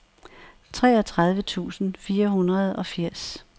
treogtredive tusind fire hundrede og firs